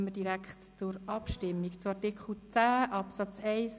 Damit kommen wir direkt zur Abstimmung über Artikel 10 Absatz 2